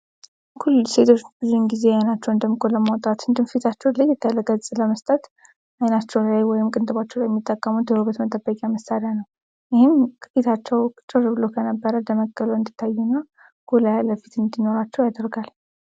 ኩል ሴቶች ብዙ ግዜ አይናቸውን ደምቆ ለማውጣት እንዲሁም እንዲሁም ፊታቸውን ለየት ያለ ገጽ ለመስጠት አይናቸው ላይ ወይም ቅንድባቸው ላይ የሚጠቀሙት የውበት መጠበቂያ መሳሪያ ነው። ይህን ፊታቸው ጭር ብሎ ከነበረ ደመቅ ብሎ እንዲታየና ጎላ ብሎ እንዲታያው ያደርጋል።